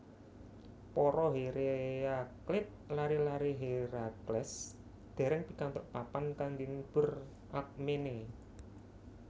Para Hereakleid lare lare Herakles dereng pikantuk papan kangge ngubur Alkmene